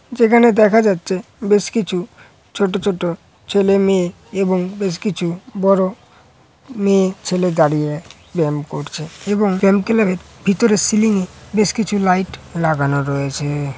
যেখানে দেখা যাচ্ছে বেশ কিছু ছোট ছোট ছেলে মেয়ে এবং বেশ কিছু বড়ো মেয়ে ছেলে দাঁড়িয়ে ব্যাম করছে এবং ব্যাম ক্লাব এর ভিতরে সিলিং এ বেশ কিছু লাইট লাগানো রয়েছে-এ।